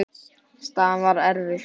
Staðan er erfið.